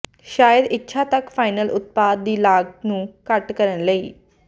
ਸ਼ਾਇਦ ਇੱਛਾ ਤੱਕ ਫਾਈਨਲ ਉਤਪਾਦ ਦੀ ਲਾਗਤ ਨੂੰ ਘੱਟ ਕਰਨ ਲਈ